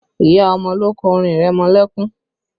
Ìyá ọmọ ló kọ orin ìrẹmọlẹ́kún